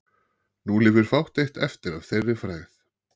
Nú lifir fátt eitt eftir að þeirri frægð.